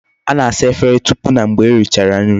A na-asa Efere tupu na mgbe e richara nri